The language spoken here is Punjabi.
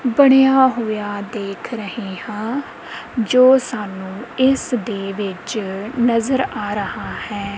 ਬਣਿਆ ਹੋਇਆ ਦੇਖ ਰਹੇ ਹਾਂ ਜੋ ਸਾਨੂੰ ਇਸਦੇ ਵਿੱਚ ਨਜ਼ਰ ਆ ਰਹਾ ਹੈ।